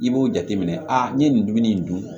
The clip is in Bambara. I b'o jateminɛ aa n'i ye nin dumuni in dun